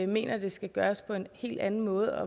mener at det skal gøres på en helt anden måde